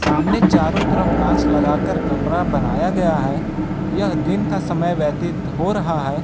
आमने चारों तरफ कांच लगाकर कमरा बनाया गया है यह दिन का समय व्यतीत हो रहा है।